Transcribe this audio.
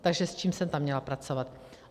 Takže s čím jsem tam měla pracovat?